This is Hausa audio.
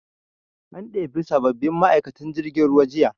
An ɗebi sabbabbin ma'aikatan jirgin ruwa jiya